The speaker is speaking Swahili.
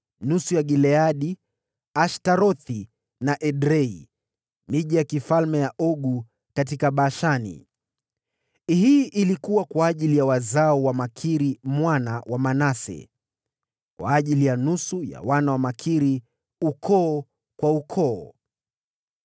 nusu ya Gileadi, na Ashtarothi na Edrei (miji ya kifalme ya Ogu katika Bashani). Hii ilikuwa kwa ajili ya wazao wa Makiri mwana wa Manase, kwa ajili ya nusu ya wana wa Makiri, ukoo kwa ukoo.